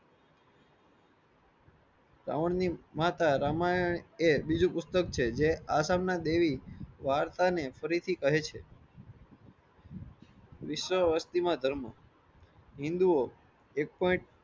રાવણ ની માતા રામયણ એ બીજું પુસ્તક છે. જે આ સામના દેહી વાર્તા ને પ્રીતિ કહે છે વિશ્વ વસ્તી માં ધર્મ હિંદુઓ એક તો એક